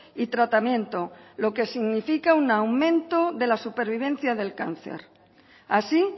y tratamiento lo que significa un aumento de la supervivencia del cáncer así